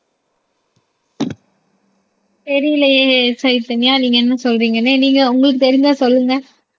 தெரியலையே சைதன்யா நீங்க என்ன சொல்றீங்கன்னு நீங்க உங்களுக்கு தெரிஞ்சா சொல்லுங்க